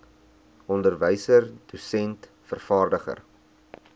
onderwyser dosent vervaardiger